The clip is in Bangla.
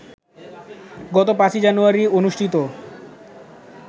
গত ৫ই জানুয়ারি অনুষ্ঠিত